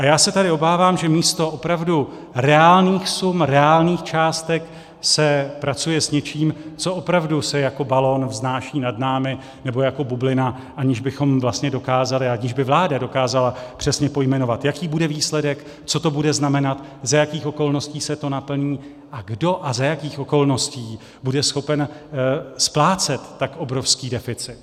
A já se tady obávám, že místo opravdu reálných sum, reálných částek, se pracuje s něčím, co opravdu se jako balon vznáší nad námi, nebo jako bublina, aniž bychom vlastně dokázali, aniž by vláda dokázala přesně pojmenovat, jaký bude výsledek, co to bude znamenat, za jakých okolností se to naplní a kdo a za jakých okolností bude schopen splácet tak obrovský deficit.